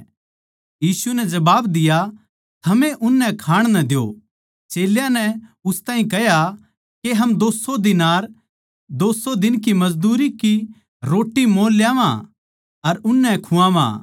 यीशु नै जबाब दिया थमए उननै खाण नै द्यो चेल्यां नै उस ताहीं कह्या के हम दो सौ दीनार 200 दिन की मजदूरी की रोट्टी मोल ल्यावां अर उननै खुआवां